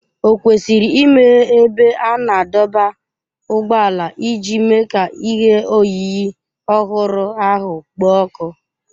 Ò kwesịrị imeghe ebe a na-adọba ụgbọala iji mee ka ihe oyiyi ọhụrụ ahụ kpoo ọkụ?